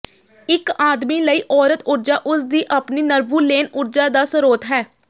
ਇੱਕ ਆਦਮੀ ਲਈ ਔਰਤ ਊਰਜਾ ਉਸਦੀ ਆਪਣੀ ਨਰਵੂਲੇਨ ਊਰਜਾ ਦਾ ਸਰੋਤ ਹੈ